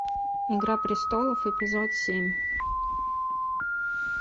игра престолов эпизод семь